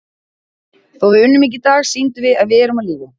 Þó við unnum ekki í dag, sýndum við að við erum á lífi.